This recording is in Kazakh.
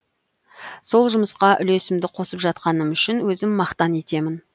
сол жұмысқа үлесімді қосып жатқаным үшін өзім мақтан етемін